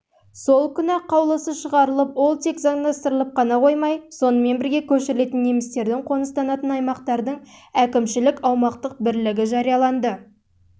сол күні-ақ қаулысы шығарылып ол тек заңдастырылып қана қоймай сонымен бірге көшірілетін немістердің қоныстанатын аймақтардың әкімшілік-аумақтық бірлігі